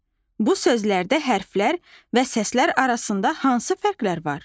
Bu sözlərdə hərflər və səslər arasında hansı fərqlər var?